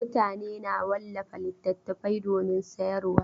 Mutane na wallafa littattafai domin sayarwa.